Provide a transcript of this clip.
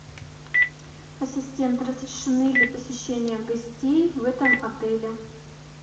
ассистент разрешены ли посещения гостей в этом отеле